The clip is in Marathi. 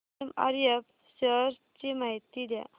एमआरएफ शेअर्स ची माहिती द्या